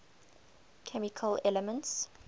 chemical elements